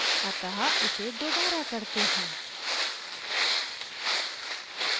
अतः इसे दोबारा करते हैं